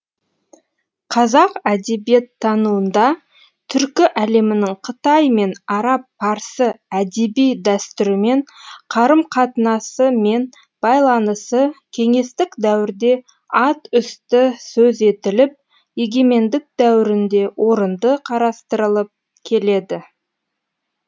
қазақ әдебиеттануында түркі әлемінің қытай мен араб парсы әдеби дәстүрімен қарым қатынасы мен байланысы кеңестік дәуірде ат үсті сөз етіліп егемендік дәуірінде орынды қарастырылып келеді